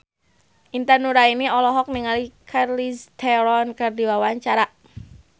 Intan Nuraini olohok ningali Charlize Theron keur diwawancara